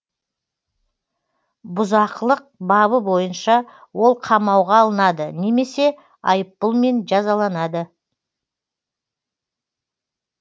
бұзақылық бабы бойынша ол қамауға алынады немесе айыппұлмен жазаланады